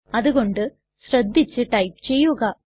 അതു കൊണ്ട് ശ്രദ്ധിച്ചു ടൈപ്പ് ചെയ്യുക